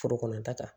Foro kɔnɔta kan